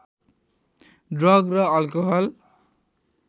drug र alcohol